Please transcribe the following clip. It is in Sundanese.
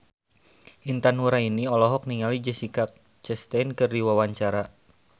Intan Nuraini olohok ningali Jessica Chastain keur diwawancara